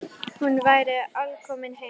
Hún væri alkomin heim.